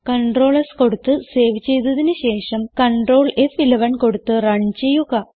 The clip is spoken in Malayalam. കണ്ട്രോൾ S കൊടുത്ത് സേവ് ചെയ്തതിന് ശേഷം കണ്ട്രോൾ ഫ്11 കൊടുത്ത് റൺ ചെയ്യുക